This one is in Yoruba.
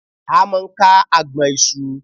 A máa ń ka agbọ̀n ìṣù